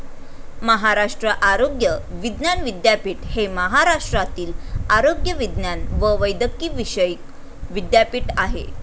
महाराष्ट्र आरोग्य विज्ञान विद्यापीठ हे महाराष्ट्रातील आरोग्यविज्ञान व वैद्यकीविषयक विद्यापीठ आहे.